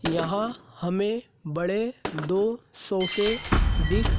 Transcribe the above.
यहां हमें बड़े दो सोफे दिख--